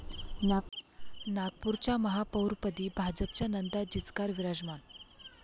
नागपूरच्या महापौरपदी भाजपच्या नंदा जिचकार विराजमान